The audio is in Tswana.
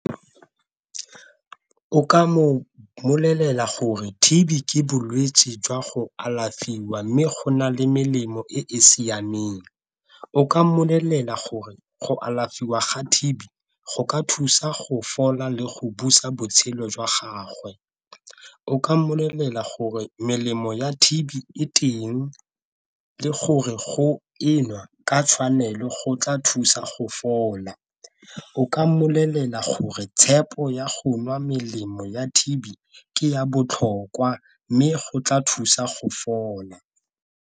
O ka mo bolelela gore T_B ke bolwetse jwa go alafiwa, mme go na le melemo e e siameng, o ka mmolelela gore go alafiwa ga T_B go ka thusa go fola le go busa botshelo jwa gagwe. O ka mmolelela gore melemo ya T_B e teng le gore go e nwa ka tshwanelo go tla thusa go fola, o ka mmolelela gore tshepo ya go nwa melemo ya T_B ke ya botlhokwa mme go tla thusa go fola.